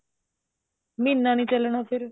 ਮਹੀਨਾ ਨੀ ਚੱਲਣਾ ਫ਼ੇਰ